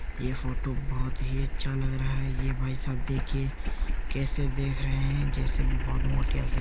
ये फोटो बहोत ही अच्छा लग रहा है। ये भाई साहब देखिए कैसे देख रहे है? जैसे बहोत मोटे आँखें --